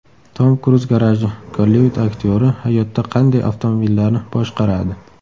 Tom Kruz garaji: Gollivud aktyori hayotda qanday avtomobillarni boshqaradi?.